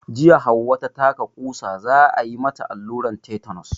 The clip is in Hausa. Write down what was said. Jiya Hauwa ta taka ƙusa, za a yi mata alluran tetenos.